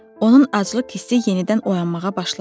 Onun aclıq hissi yenidən oyanmağa başladı.